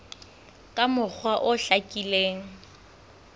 ka mokgwa o hlakileng ho